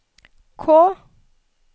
K